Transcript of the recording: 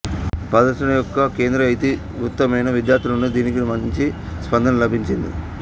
ప్రదర్శన యొక్క కేంద్ర ఇతివృత్తమైన విద్యార్థుల నుండి దీనికి మంచి స్పందన లభించింది